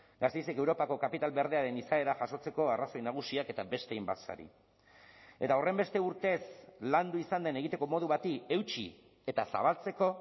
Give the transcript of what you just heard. gasteizek europako kapital berdearen izaera jasotzeko arrazoi nagusiak eta beste hainbat sari eta horrenbeste urtez landu izan den egiteko modu bati eutsi eta zabaltzeko